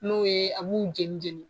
N'o ye a b'u jeni jeni.